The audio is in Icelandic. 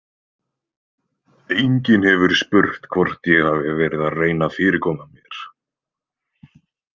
Enginn hefur spurt hvort ég hafi verið að reyna að fyrirkoma mér.